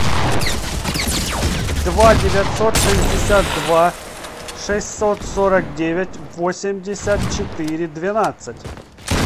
два девятьсот шестьдесят два шестьсот сорок девять восемьдесят четыре двенадцать